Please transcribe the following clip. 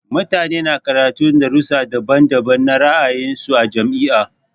Mutane na karatun darussa daban-daban na ra'ayin su a jami'a.